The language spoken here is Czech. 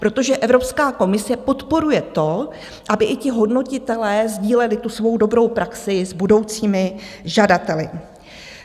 Protože Evropská komise podporuje to, aby i ti hodnotitelé sdíleli tu svou dobrou praxi s budoucími žadateli.